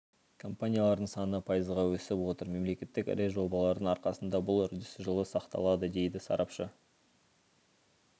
компаниялардың саны пайызға өсіп отыр мемлекеттік ірі жобалардың арқасында бұл үрдіс жылы сақталады дейді сарапшы